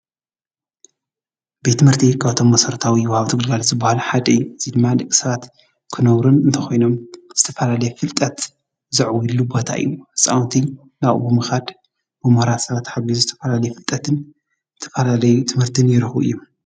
ቤት ትምህርቲ ካብቶም መሰረታዊ ወሃብቲ ግልጋሎት ዝበሃሉ ሓደ እዩ። እዚ ድማ ደቂ ሰባት ክነብሩ እንተኾይኖም ዝተፈላለየ ፍልጠት ዘዕውድሉ ቦታ እዩ። ህፃዉንቲ ናብኡ ብምኻድ ብምሁራት ሰባት ተሓጊዙ ዝተፈላለየ ፍልጠት ንዝተፋላለየ ትምህርቲን ይረክቡ እዮም።